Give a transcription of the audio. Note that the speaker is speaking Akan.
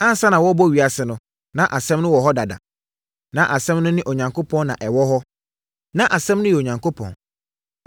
Ansa na wɔrebɛbɔ ewiase no, na Asɛm no wɔ hɔ dada. Na Asɛm no ne Onyankopɔn na ɛwɔ hɔ. Na Asɛm no yɛ Onyankopɔn.